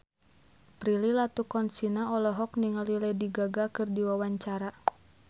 Prilly Latuconsina olohok ningali Lady Gaga keur diwawancara